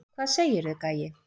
Hvað segirðu, gæi?